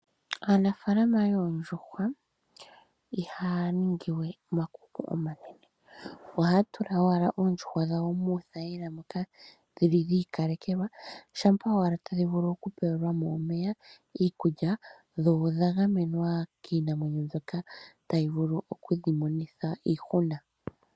Aanafalama yoondjuhwa ihaya ningiwe omakuku omanene ohaya tula owala oondjuhwa dhawo muuthayila moka dhili dha ika lekelwa shampa owala tadhi vulu oku pewelwamo omeya, iikulya, dho odha gamenwa kiinamwenyo mbyoka tayi vulu okudhi monitha iihuna.